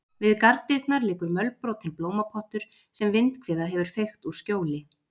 Við garðdyrnar liggur mölbrotinn blómapottur sem vindhviða hefur feykt úr skjóli.